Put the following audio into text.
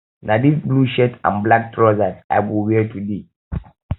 na this blue shirt and black trousers i go wear today